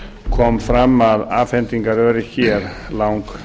kom fram að afhendingaröryggi er langverst